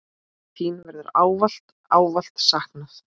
Þín verður ávallt, ávallt saknað.